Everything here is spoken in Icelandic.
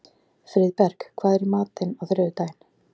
Friðberg, hvað er í matinn á þriðjudaginn?